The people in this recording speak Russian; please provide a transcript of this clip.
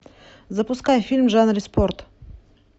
запускай фильм в жанре спорт